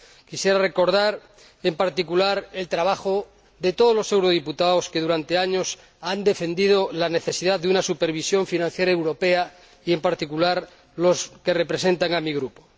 Quisiera recordar, en particular, el trabajo de todos los eurodiputados que, durante años, han defendido la necesidad de una supervisión financiera europea y, en particular, los que representan a mi grupo.